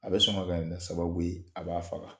A bɛ sɔn ka bɛn ni sababu ye a b'a faga.